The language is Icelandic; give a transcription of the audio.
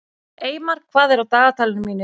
Eymar, hvað er á dagatalinu mínu í dag?